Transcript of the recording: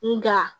Nga